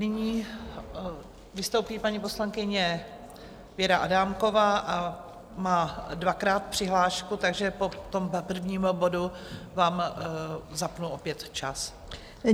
Nyní vystoupí paní poslankyně Věra Adámková a má dvakrát přihlášku, takže po tom prvním bodu vám zapnu opět čas.